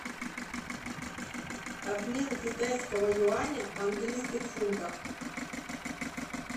обмен китайского юаня в английских фунтах